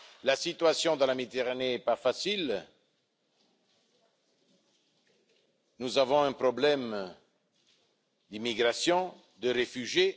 La situation dans la Méditerranée est difficile, nous avons un problème d'immigration, de réfugiés.